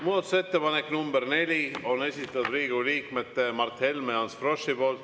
Muudatusettepaneku nr 4 on esitanud Riigikogu liikmed Mart Helme ja Ants Frosch.